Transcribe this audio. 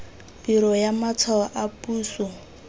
biro ya matshwao a puso